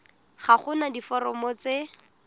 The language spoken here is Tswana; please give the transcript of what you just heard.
ga go na diforomo tse